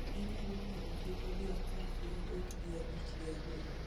inyalo ng'eyogiko gi apar gi adek gi abich gi aboro